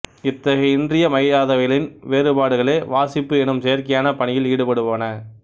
இத்தகைய இன்றியமையாதவைகளின் வேறுபாடுகளே வாசிப்பு எனும் செயற்கையான பணியில் ஈடுபடுவன